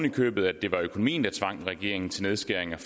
i købet at det var økonomien der tvang regeringen til nedskæringer